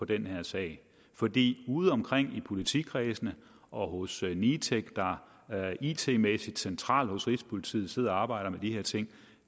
den her sag fordi ude omkring i politikredsene og hos nitec der it mæssigt centralt hos rigspolitiet sidder og arbejder med de her ting